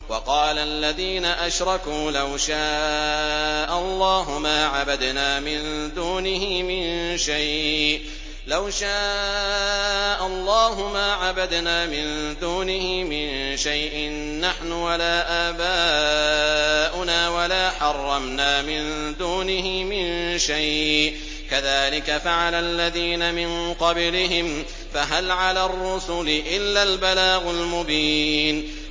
وَقَالَ الَّذِينَ أَشْرَكُوا لَوْ شَاءَ اللَّهُ مَا عَبَدْنَا مِن دُونِهِ مِن شَيْءٍ نَّحْنُ وَلَا آبَاؤُنَا وَلَا حَرَّمْنَا مِن دُونِهِ مِن شَيْءٍ ۚ كَذَٰلِكَ فَعَلَ الَّذِينَ مِن قَبْلِهِمْ ۚ فَهَلْ عَلَى الرُّسُلِ إِلَّا الْبَلَاغُ الْمُبِينُ